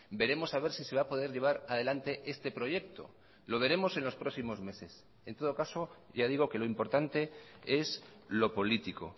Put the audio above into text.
veremos a ver si se va a poder llevar adelante este proyecto lo veremos en los próximos meses en todo caso ya digo que lo importante es lo político